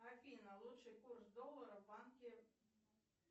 афина лучший курс доллара в банке